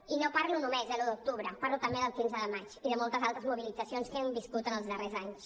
i no parlo només de l’un d’octubre parlo també del quinze de maig i de moltes altres mobilitzacions que hem viscut en els darrers anys